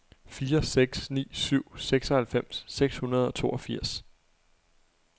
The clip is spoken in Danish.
fire seks ni syv seksoghalvfems seks hundrede og toogfirs